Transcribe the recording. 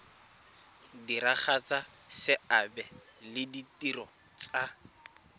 diragatsa seabe le ditiro tsa